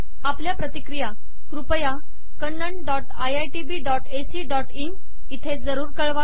आपल्या प्रतिक्रिया कृपया Kannan dot IITB dot ac dot in येथे जरूर कळवा